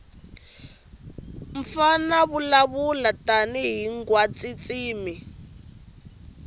mfana vulavula tani hhingwatintshimi